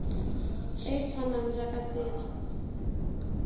e e tshwanang jaaka tsela